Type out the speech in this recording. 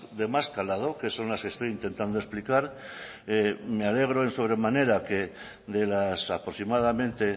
de más calado que son las que estoy intentando explicar me alegro en sobre manera que de las aproximadamente